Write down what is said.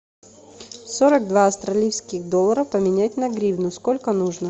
сорок два австралийских доллара поменять на гривны сколько нужно